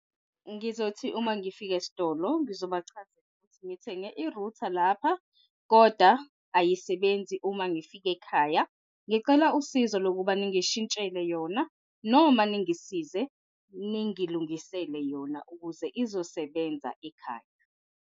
Ngizothi uma ngifika esitolo ngizobachazela ukuthi ngithenge i-router lapha kodwa ayisebenzi uma ngifika ekhaya. Ngicela usizo lokuba ningishintshele yona noma ningisize ningilungisele yona ukuze izosebenza ekhaya.